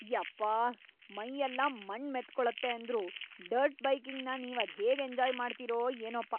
ಯಪ್ಪಾಹ್.. ಮೈಯೆಲ್ಲ ಮಣ್ಣ್‌ ಮೆತ್ಕೊಳತ್ತೆ ಅಂದ್ರೂ ಡರ್ಟ್ ಬೈಕಿಂಗ್‌ನ ನೀವ್‌ ಅದ್ಹೇಗ್‌ ಎಂಜಾಯ್‌ ಮಾಡ್ತೀರೋ ಏನೋಪ್ಪ.